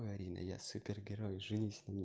марина я супергерой женись на мне